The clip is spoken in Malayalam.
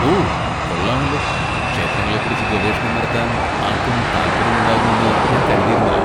ഓ കൊള്ളാമല്ലോ, ക്ഷേത്രങ്ങളെക്കുറിച്ച് ഗവേഷണം നടത്താൻ ആർക്കും താൽപ്പര്യമുണ്ടാകുമെന്ന് ഞാൻ കരുതിയിരുന്നില്ല.